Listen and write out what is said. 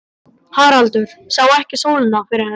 Haraldur sá ekki sólina fyrir henni.